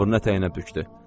Abrını ətəyinə bükdü.